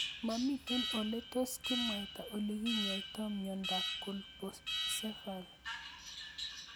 Mamito ole tos kimwaita ole kinyoitoi miondop Colpocephaly